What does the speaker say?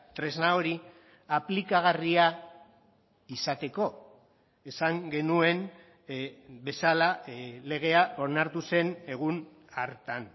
tresna hori aplikagarria izateko esan genuen bezala legea onartu zen egun hartan